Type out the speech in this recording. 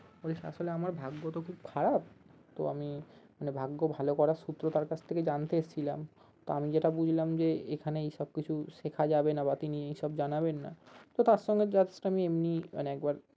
ওই আসলে আমার ভাগ্য তো খুব খারাপ তো আমি মানে ভাগ্য ভালো করার সূত্র তার কাছ থেকে জানতে এসছিলাম তো আমি যেটা বুঝলাম যে এখানে এইসব কিছু শেখা যাবে না বা তিনি এসব জানাবেন না তো তার সঙ্গে just আমি এমনি মানে একবার